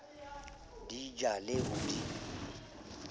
di ja le ho di